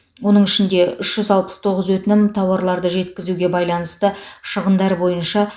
оның ішінде үш жүз алпыс тоғыз өтінім тауарларды жеткізуге байланысты шығындар бойынша